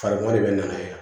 Fari ma de bɛ na ye